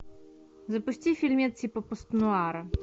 запусти фильмец типа пост нуара